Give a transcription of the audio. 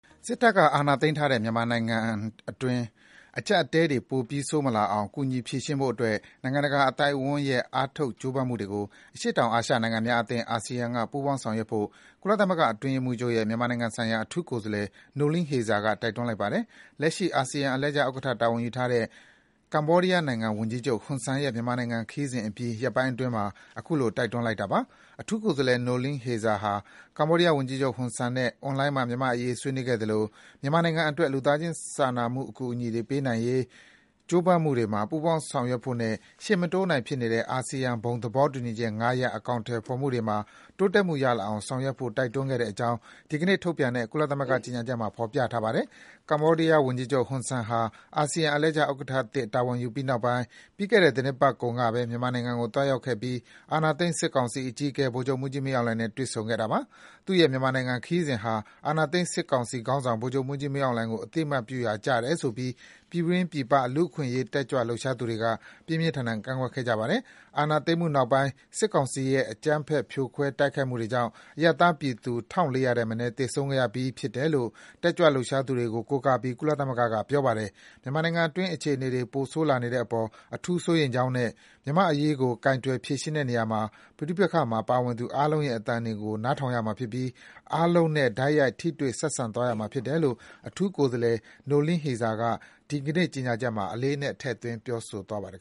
စစ်တပ်က အာဏာသိမ်းထားတဲ့ မြန်မာနိုင်ငံတွင်း အကျပ်အတည်းတွေ ပိုပြီး ဆိုးမလာအောင် ကူညီဖြေရှင်းဖို့အတွက် နိုင်ငံတကာအသိုက်အဝန်းရဲ့ အားထုတ် ကြိုးပမ်းမှုတွေကို အရှေ့တောင်အာရှနိုင်ငံများအသင်း (ASEAN) က ပူးပေါင်း ဆောင်ရွက်ဖို့ ကုလသမဂ္ဂ အတွင်းရေးမှူးချုပ်ရဲ့ မြန်မာနိုင်ငံဆိုင်ရာ အထူးကိုယ်စားလှယ် Noeleen Heyzer က တိုက်တွန်းလိုက်ပါတယ်။ လက်ရှိ အာဆီယံ အလှည့်ကျဥက္ကဋ္ဌ တာဝန်ယူထားတဲ့ ကမ္ဘောဒီးယားဝန်ကြီးချုပ် ဟွန်ဆန်ရဲ့ မြန်မာနိုင်ငံခရီးစဉ်အပြီး ရက်ပိုင်းအတွင်းမှာပဲ ခုလို တိုက်တွန်းလိုက်တာပါ။ အထူးကိုယ်စားလှယ် Noeleen Heyzer ဟာ ကမ္ဘောဒီးယားဝန်ကြီးချုပ် ဟွန်ဆန်နဲ့ အွန်လိုင်းမှာ မြန်မာ့အရေး ဆွေးနွေးခဲ့သလို မြန်မာနိုင်ငံအတွက် လူသားစာနာမှုအကူအညီတွေ ပေးနိုင်ရေး ကြိုးပမ်းမှုတွေမှာ ပူးပေါင်းဆောင်ရွက်ဖို့နဲ့ ရှေ့မတိုးနိုင်ဖြစ်နေတဲ့ အာဆီယံ ဘုံသဘောတူညီချက် ၅ ရပ် အကောင်အထည်ဖော်မှုတွေမှာ တိုးတက်မှုရလာအောင် ဆောင်ရွက်ဖို့ တိုက်တွန်းခဲ့တဲ့အကြောင်း ဒီကနေ့ထုတ်ပြန် တဲ့ ကုလသမဂ္ဂ ကြေညာချက်မှာ ဖော်ပြထားပါတယ်။ ကမ္ဘောဒီးယားဝန်ကြီးချုပ် ဟွန်ဆန်ဟာ အာဆီယံ အလှည့်ကျဥက္ကဋ္ဌသစ် တာဝန် ယူပြီးနောက်ပိုင်း ပြီးခဲ့တဲ့ သီတင်းပတ်ကုန်ကပဲ မြန်မာနိုင်ငံကို သွားရောက်ခဲ့ပြီး အာဏာသိမ်း စစ်ကောင်စီအကြီးအကဲ ဗိုလ်ချုပ်မှူးကြီး မင်းအောင်လှိုင်နဲ့ တွေ့ဆုံခဲ့တာပါ။ သူ့ရဲ့ မြန်မာခရီးစဉ်ဟာ အာဏာသိမ်းစစ်ကောင်စီခေါင်းဆောင် ဗိုလ်ချုပ် မှူးကြီးမင်းအောင်လှိုင်ကို အသိအမှတ်ပြုရာကျတယ်ဆိုပြီး ပြည်တွင်း ပြည်ပ လူ့ အခွင့်အရေး တက်ကြွလှုပ်ရှားသူတွေက ပြင်းပြင်းထန်ထန် ကန့်ကွက်ခဲ့ကြပါတယ်။ အာဏာသိမ်းမှုနောက်ပိုင်း စစ်ကောင်စီရဲ့ အကြမ်းဖက် ဖြိုခွဲ တိုက်ခိုက်မှုတွေကြောင့် အရပ်သားပြည်သူ ၁,၄၀၀ ထက်မနည်း သေဆုံးခဲ့ရပြီး ဖြစ်တယ်လို့ တက်ကြွလှုပ်ရှားသူတွေကို ကိုးကားပြီး ကုသလမဂ္ဂက ပြောပါတယ်။ မြန်မာနိုင်ငံတွင်း အခြေအနေတွေ ပိုဆိုးလာနေတဲ့အပေါ် အထူးစိုးရိမ်ကြောင်းနဲ့ မြန်မာ့အရေးကို ကိုင်တွယ်ဖြေရှင်းတဲ့နေရာမှာ ပဋိပက္ခမှာ ပါဝင်သူအားလုံးရဲ့ အသံတွေကို နားထောင်ရမှာဖြစ်ပြီး အားလုံးနဲ့ တိုက်ရိုက် ထိတွေ့ဆက်ဆံသွားရမှာ ဖြစ်တယ်လို့ အထူး ကိုယ်စားလှယ် Noeleen Heyzer က ဒီကနေ့ ကြေညာချက်မှာ အလေးအနက် ထည့်သွင်း ပြောဆိုထားပါတယ်